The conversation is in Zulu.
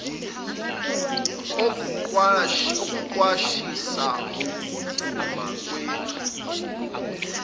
okuqwashisa ngokuduma kwezulu